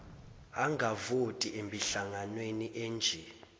angavoti emihlanganweni enje